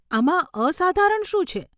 આમાં અસાધારણ શું છે?